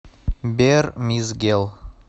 бер мизгел